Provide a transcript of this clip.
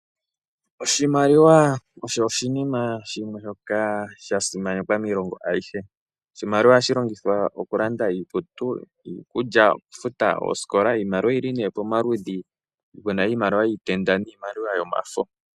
Oshimaliwa osho oshinima shimwe shoka sha simanekwa miilongo ayihe ohashi longithwa okulanda iikutu, iikulya, noshowo okufuta osikola. Iimaliwa oyili pamaludhi ga yooloka ngaashi pu na iimaliwa yiitenda nambyoka yomafo.